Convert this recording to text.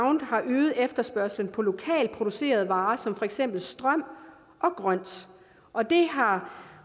øget efterspørgslen på lokalt producerede varer som for eksempel strøm og grønt og det har